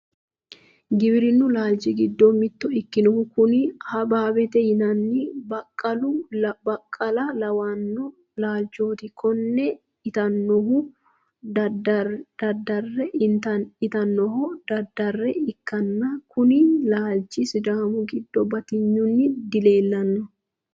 giwirinnu laalchi giddoni mitto ikkinohu kuni habaabiiti yinanni baaqula lawanno laalchooti konne intannihuno daddarre ikkanna, kuni laalchi sidaamu giddo batinyunni dileelanno.